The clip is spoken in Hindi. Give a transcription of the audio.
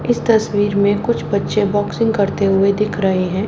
इस तस्वीर में कुछ बच्चे बॉक्सिंग करते हुए दिख रहे हैं।